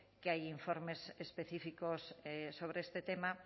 que hay informes específicos sobre este tema